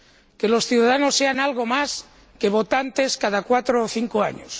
que los ciudadanos sean algo más que votantes cada cuatro o cinco años